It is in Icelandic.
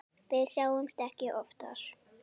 Við sjáumst ekki oftar.